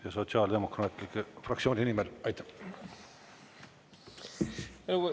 Ja Sotsiaaldemokraatliku Erakonna fraktsiooni nimel, aitäh.